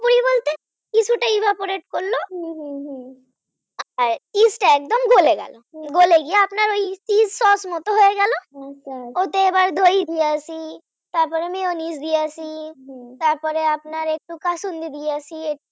yeast একদম গলে গেল গলে গিয়ে আপনার yeast sauce মতন হয়ে গেল আচ্ছা ওতে এবার দই দিয়েছি mayonnaise দিয়েছি তারপরে আপনার একটু কাসুন্দি দিয়েছি একটু